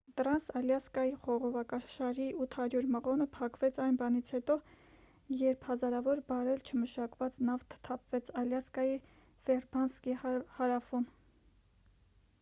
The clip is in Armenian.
տրանս ալյասկայի խողովակաշարի 800 մղոնը փակվեց այն բանից հետո երբ հազարավոր բարել չմշակված նավթ թափվեց ալյասկայի ֆեյրբանկսի հարավում